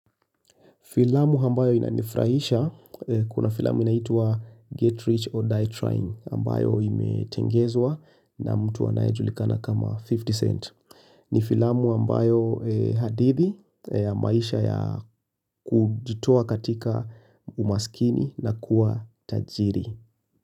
Filamu ambayo inanifrahisha, kuna filamu inaitwa Get Rich or Die Trying ambayo imetengezwa na mtu anaejulikana kama 50 cent. Ni filamu ambayo hadithi ya maisha ya kujitoa katika umaskini na kuwa tajiri.